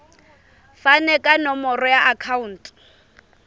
fane ka nomoro ya akhauntu